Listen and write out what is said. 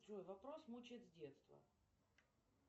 джой вопрос мучает с детства